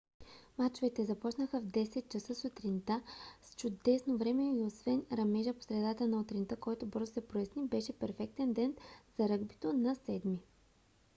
мачовете започнаха в 10: 00 ч.сутринта с чудесно време и освен ръмежа по средата на утринта който бързо се проясни беше перфектен ден за ръгбито на 7 - ми